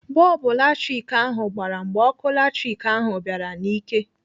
Bọlbụ latrik ahụ gbara mgbe ọkụ latrik ahụ bịara n'ike